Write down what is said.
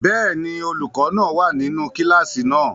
Bẹ́ẹ̀ni, olukọ náa wa ninu kilasi náà.